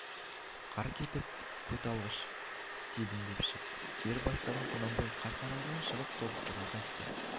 қар кетіп көк алғаш тебіндеп шығып жер бастағанда құнанбай қарқаралыдан шығып тобықтыға қайтты